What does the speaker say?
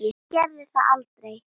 Það gerði það aldrei.